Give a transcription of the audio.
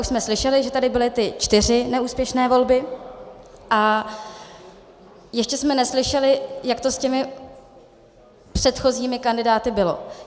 Už jsme slyšeli, že tady byly ty čtyři neúspěšné volby, a ještě jsme neslyšeli, jak to s těmi předchozími kandidáty bylo.